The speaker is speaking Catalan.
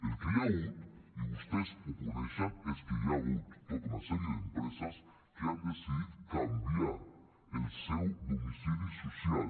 el que hi ha hagut i vostès ho coneixen és que hi ha hagut tota una sèrie d’empreses que han decidit canviar el seu domicili social